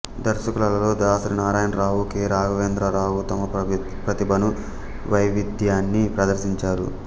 దర్శకులలో Dasari Narayana Rao K Raghavendra Rao తమ ప్రతిభను వైవిధ్యాన్ని ప్రదర్శించారు